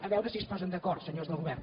a veure si es posen d’acord senyors del govern